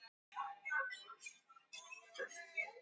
Hún kallar á eftir honum og spyr: Gaf hann þér nokkuð?